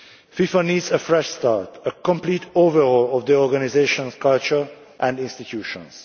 FIFA needs a fresh start, a complete overhaul of the organisation's culture and institutions.